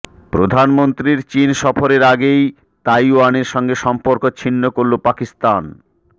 প্রধানমন্ত্রীর চিন সফরের আগেই তাইওয়ানের সঙ্গে সম্পর্ক ছিন্ন করল পাকিস্তান